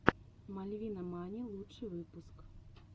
мальвинамани лучший выпуск